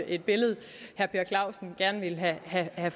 et billede herre